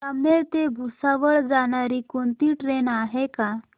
जामनेर ते भुसावळ जाणारी कोणती ट्रेन आहे का